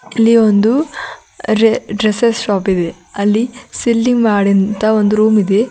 ಇಲ್ಲಿ ಒಂದು dresses shop ಇದೆ ಅಲ್ಲಿ ಸೀಲಿಂಗ್ ಮಾಡಿ ಅಂತ ಒಂದು ರೂಮ್ ಇದೆ.